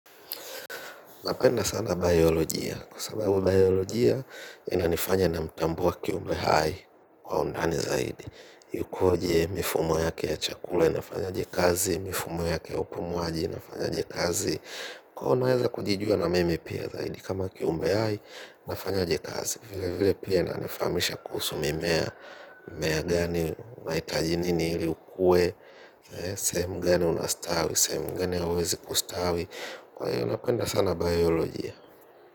Napenda sana biolojia. Kwa sababu biolojia, ina nifanya na mtambua kiumbe hai kwa undani zaidi. Ikoje mifumo yake ya chakula inafanya ajekazi, mifumo yake ya upumuaji inafanya ajekazi. Kwa unaweza kujijua na mimi pia zaidi kama kiumbe hai, inafanya jekazi. Vile vile pia inanifamisha kuhusumimea, mmea gani, waitaji nini hili ukue, sehemu gani unastawi, sehemu gani hauwezi kustawi. Kwa ya unapenda sana bioloji ya.